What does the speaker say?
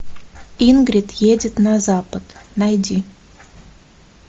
ингрид едет на запад найди